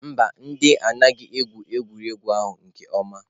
Mba, ndị anaghị egwu egwuregwu ahụ nke ọma.